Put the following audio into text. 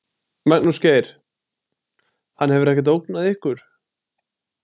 Magnús Geir: Hann hefur ekkert ógnað ykkur?